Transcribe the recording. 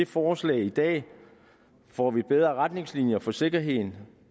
forslaget i dag får vi bedre retningslinjer for sikkerheden